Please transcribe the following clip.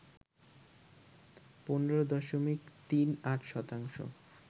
১৫ দশমিক ৩৮ শতাংশ